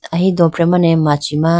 ahi dofre mane machi ma.